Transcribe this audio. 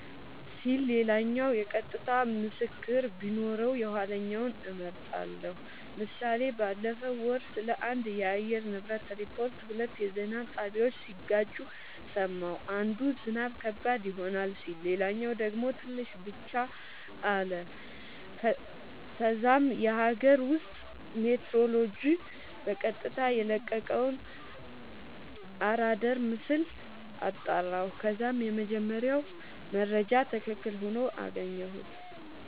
ሲል ሌላኛው የቀጥታ ምስክር ቢኖረው የኋለኛውን እመርጣለሁ ## ምሳሌ ባለፈው ወር ስለአንድ የአየር ንብረት ሪፖርት ሁለት የዜና ጣቢያወች ሲጋጩ ሰማሁ። አንዱ "ዝናብ ከባድ ይሆናል " ሲል ሌላኛው ደግሞ "ትንሽ ብቻ " አለ። ከዛም የአገር ውስጥ ሜትሮሎጅ በቀጥታ የለቀቀውን አራዳር ምስል አጣራሁ ከዛም የመጀመሪያው መረጃ ትክክል ሆኖ አገኘሁት